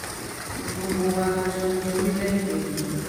gbogbo um wa la jọ ní orílẹ̀‐èdè yìí